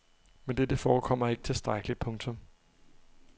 Men dette forekommer ikke tilstrækkeligt. punktum